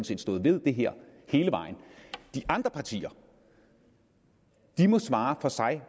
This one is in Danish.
set stået ved det her hele vejen de andre partier må svare for sig